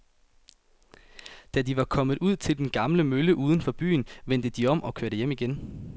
Da de var kommet ud til den gamle mølle uden for byen, vendte de om og kørte hjem igen.